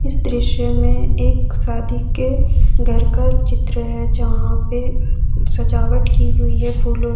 इस दृश्य में एक शादी के घर का चित्र है जहां पे सजावट की हुई है फूलों --